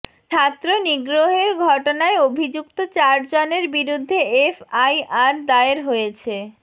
ছাত্র নিগ্রহের ঘটনায় অভিযুক্ত চারজনের বিরুদ্ধে এফআইআর দায়ের হয়েছে